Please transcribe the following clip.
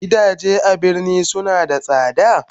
Gidaje a birni suna da sada?